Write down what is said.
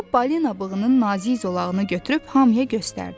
O balina bığının nazik zolağını götürüb hamıya göstərdi.